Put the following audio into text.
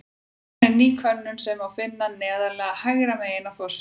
Komin er inn ný könnun sem má finna neðarlega hægra megin á forsíðu.